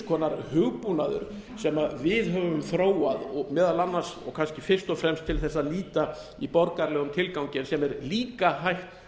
konar hugbúnaður sem við höfum þróað meðal annars og kannski fyrst og fremst til að nýta í borgaralegum tilgangi sem er líka hægt